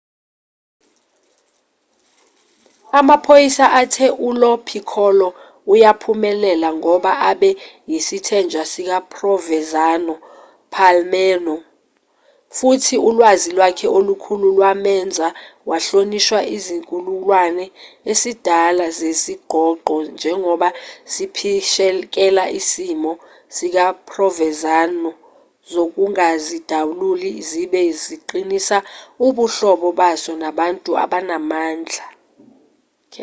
amaphoyisa athe ulo piccolo uyaphumelela ngoba abe yisithenjwa sikaprovenzano epalermo futhi ulwazi lwakhe olukhulu lwamenza wahlonishwa isizukulwane esidala sezingqongqo njengoba siphishekela isimiso sikaprovenzano sokungazidaluli sibe siqinisa ubuhlobo baso nabantu abanamandla